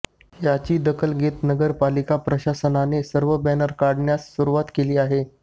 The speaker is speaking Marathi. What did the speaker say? याची दखल घेत नगरपालिका प्रशासनाने सर्व बॅनर काढण्यास सुरुवात केली आहे